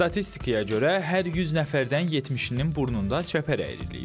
Statistikaya görə hər 100 nəfərdən 70-nin burnunda çəpər əyriliyi var.